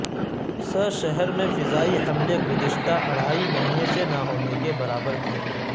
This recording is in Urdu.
س شہر میں فضائی حملے گزشتہ اڑھائی مہینوں سے نہ ہونے کے برابر تھے